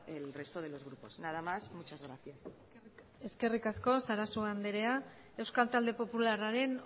el resto de los grupos nada más muchas gracias eskerrik asko sarasua anderea euskal talde popularraren